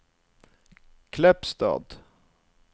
Kleppstad